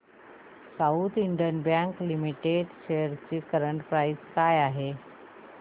south Indian Bank Limited shares ची current price काय आहे